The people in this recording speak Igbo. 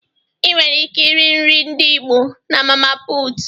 Ịnwere ike iri nri ndị Igbo na mama puutu.